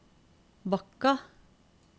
Bakka